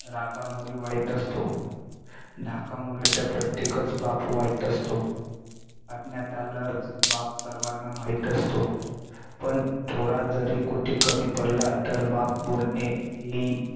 रागामुळे वाईट असतो. धाकामुळे तर प्रत्येकच बाप वाईट असतो, अज्ञातालाच बाप सर्वांना माहित असतो पण थोडा जरी कुठे कमी पडला तर बाप बोलणे हि